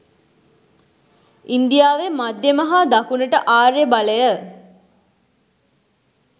ඉන්දියාවේ මධ්‍යම හා දකුණට ආර්ය බලය